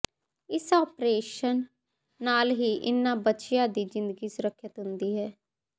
ਇਸ ਆਪ੍ਰੇਸ਼ਨ ਨਾਲ ਹੀ ਇਹਨਾਂ ਬੱਚਿਆਂ ਦੀ ਜ਼ਿੰਦਗੀ ਸੁਰਖਿਅਤ ਹੁੰਦੀ ਹੈ